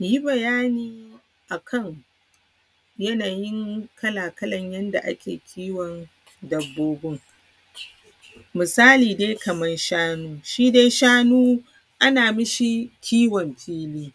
Yi bayanin yanayin kala-kalan yadda ake kiwon dabbobun, misala dai Kaman shanu, shi dai shanu ana mashi kiwon fili.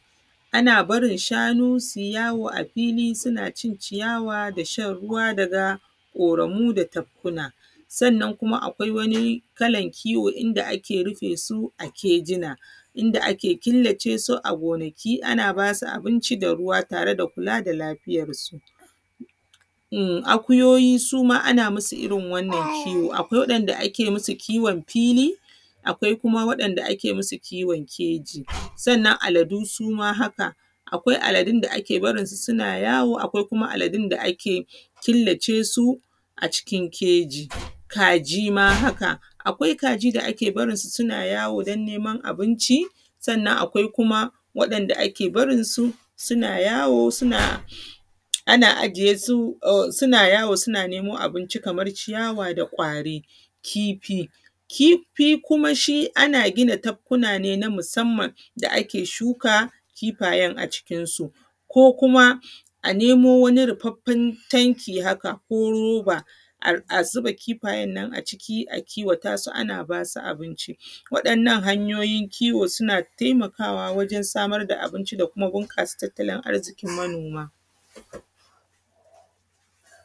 Ana barin shanu sui yawo a fili suna cin ciyawa da shan ruwa daga ƙoramu da tafkuna. Sannan kuma akwai wani kalan kiwo, inda ake rufe su a kejina, inda ake killace su a gonaki an aba su abinci da ruwa tare da kula da lafiyarsu. In akuyoyi su ma ana masu irin wannan kiwo, akwai waɗanda ake masu kiwon fili, akwai kuma waɗanda ake masu kiwon keji, sannan aladu su ma haka. Akwai aladun da ake barinsu suna yawo, akwai kuma aladun da ake killace su a cikin keji. Kaji su ma haka, akwai kajin da ake barnsu suna yawo don neman abinci, sannan kuma akwai waɗanda ake barinsu suna yawo suna, ana ajiye su, suna yawo sauna nemo abinci kamar ciyawa da ƙwari. Kifi kifi kuma shi, ana gina tabkuna ne na musamman da ake shuka kifayen a cikin su. Ko kuma a nemo wani rufafffan tanki haka, ko roba a zuba kifayen nan a ciki a kiwata su, an aba su abinci. Waɗannan hanyoyin kiwo suna taimakawa wajen samarda abinci da kuma buƙasa tattalin manoma.